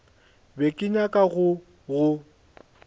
be ke nyaka go go